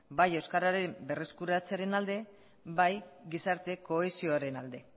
bai euskararen berreskuratzearen alde bai gizarte kohesioaren alde